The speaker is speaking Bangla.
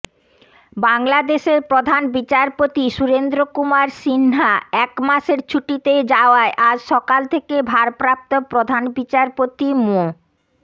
বাংলাদেশের প্রধান বিচারপতি সুরেন্দ্র কুমার সিনহাএকমাসের ছুটিতে যাওয়ায় আজ সকাল থেকে ভারপ্রাপ্ত প্রধান বিচারপতি মো